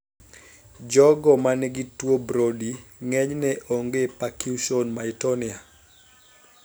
Jogo manigi tuo Brody ng'enyne onge percussion myotonia